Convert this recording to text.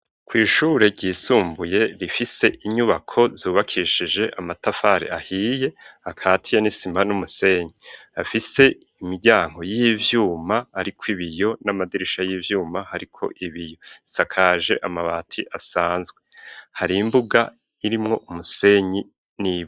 Kwishure ryisumbuye rifise inyubako zubakishije amatafare ahiye akati ya n'isima n'umusenyi afise imiryango y'ivyuma ari ko ibiyo n'amadirisha y'ivyuma ariko ibiyosakaje amabati asanzwe hari imbuga irimwo umusenyi n'ibiti.